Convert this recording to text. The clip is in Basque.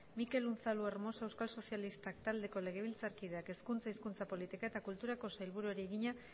mikel unzalu hermosa euskal sozialistak taldeko legebiltzarkideak hezkuntza hizkuntza politika eta kulturako sailburuari egina